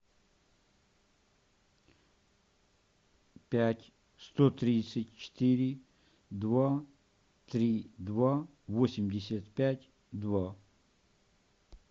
пять сто тридцать четыре два три два восемьдесят пять два